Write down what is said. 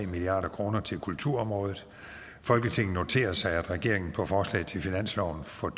milliard kroner til kulturområdet folketinget noterer sig at regeringen på forslag til finansloven for